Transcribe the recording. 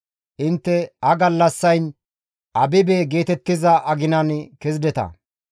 Intte ha gallassayn Abibe geetettiza aginan kezideta.